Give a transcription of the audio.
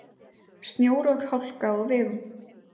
Snjór og hálka á vegum